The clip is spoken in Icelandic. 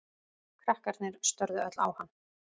Krakkarnir störðu öll á hann.